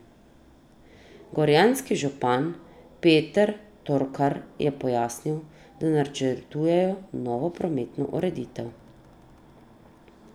Gorjanski župan Peter Torkar je pojasnil, da načrtujejo novo prometno ureditev.